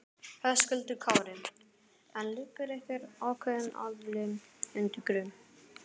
Höskuldur Kári: En liggur einhver ákveðin aðili undir grun?